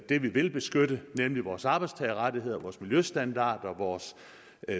det vi vil beskytte nemlig vores arbejdstagerrettigheder vores miljøstandarder vores